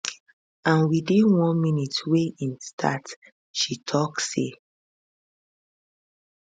and within one minute wey im start she tok say